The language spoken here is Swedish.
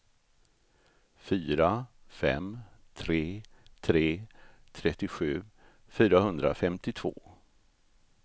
fyra fem tre tre trettiosju fyrahundrafemtiotvå